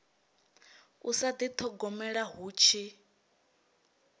u sa dithogomela hu tshi